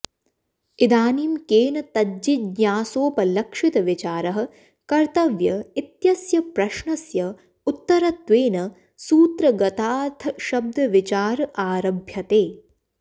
इदानीं केन तज्जिज्ञासोपलक्षितविचारः कर्तव्य इत्यस्य प्रश्नस्य उत्तरत्वेन सूत्रगताथशब्दविचार आरभ्यते